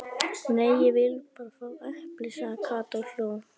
Nei, ég vil bara fá epli sagði Kata og hló.